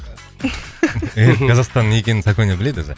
эйр қазахстан не екенін саконя біледі өзі